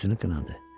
Özünü qınadı.